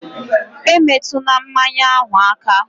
E metuna mmanya ahụ aka!